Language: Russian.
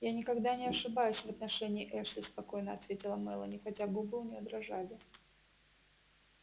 я никогда не ошибаюсь в отношении эшли спокойно ответила мелани хотя губы у неё дрожали